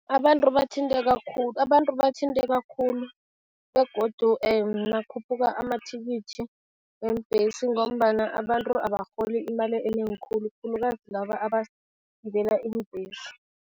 Abantu bathinteka khulu, abantu bathinteka khulu begodu nakukhuphula amathikithi weembhesi ngombana abantu abarholi imali enengi khulu, khulukazi laba abagibela iimbhesi.